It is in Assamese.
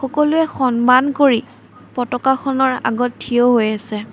সকলোৱে সন্মান কৰি পতকাখনৰ আগত থিয় হৈ আছে।